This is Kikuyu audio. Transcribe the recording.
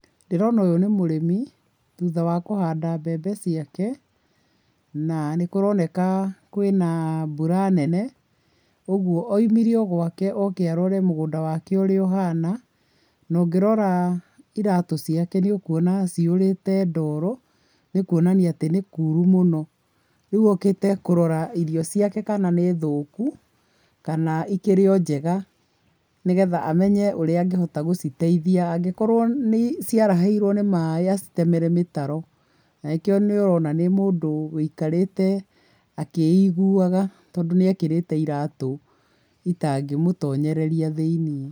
Ndĩrona ũyũ nĩ mũrĩmi, thutha wa kũhanda mbembe ciake. Na nĩ kũroneka kũrĩ na mbura nene, ũguo oimire o gwake oke arore mũgũnda wake ũrĩa ũhana, na ũngĩrora ĩratũ ciake nĩũkuona atĩ cihũrĩte ndoro, nĩ kuonania atĩ nĩ kuru mũno. Rĩu okĩte kũrora irio ciake kana nĩ thũku, kana ikĩrĩ o njega, nĩgetha amenye ũrĩa angĩhota gũciteithia. Angĩkorwo ciarahĩirwo nĩ maĩ acitemere mĩtaro, na nĩkĩo nĩũrona nĩ mũndũ ũikarĩte akĩiguaga, tondũ nĩekĩrĩte iratũ itangĩmũtonyereria thĩiniĩ.